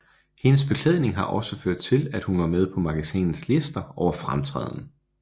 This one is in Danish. Hendes beklædning har også ført til at hun er med på magasinets lister over fremtræden